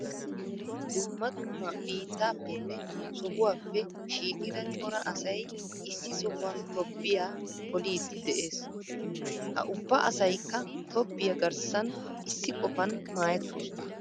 Dumma dumma biittaappenne sohuwappe shiiqida cora asay issi sohuwan tobbiya poliiddi de'ees. Ha ubba asaykka tobbiya garssan issi qofan maayettoosona.